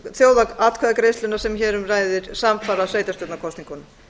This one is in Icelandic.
þjóðaratkvæðagreiðsluna sem hér um ræðir samfara sveitarstjórnarkosningunum